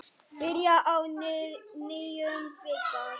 Byrjar á nýjum bikar.